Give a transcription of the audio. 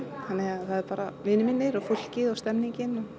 þannig það er bara vinir mínir fólkið og stemming